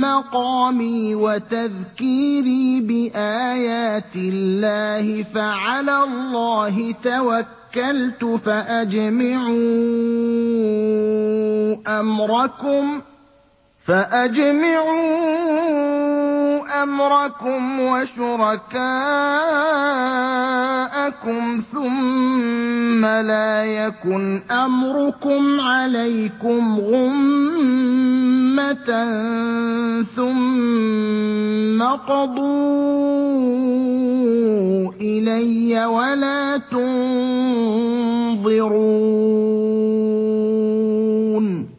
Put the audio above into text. مَّقَامِي وَتَذْكِيرِي بِآيَاتِ اللَّهِ فَعَلَى اللَّهِ تَوَكَّلْتُ فَأَجْمِعُوا أَمْرَكُمْ وَشُرَكَاءَكُمْ ثُمَّ لَا يَكُنْ أَمْرُكُمْ عَلَيْكُمْ غُمَّةً ثُمَّ اقْضُوا إِلَيَّ وَلَا تُنظِرُونِ